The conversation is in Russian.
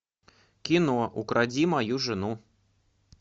кино укради мою жену